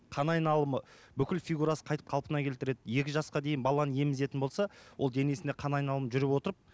қан айналымы бүкіл фигурасы қайтіп қалпына келтіреді екі жасқа дейін баланы емізетін болса ол денесінде қан айналымы жүріп отырып